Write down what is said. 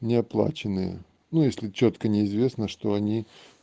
неоплаченные ну если чётко не известно что они